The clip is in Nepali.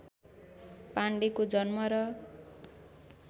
पाण्डेको जन्म र